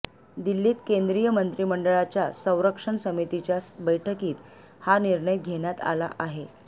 दिल्लीत केंद्रीय मंत्रिमंडळाच्या संरक्षण समितीच्या बैठकीत हा निर्णय घेण्यात आला आहे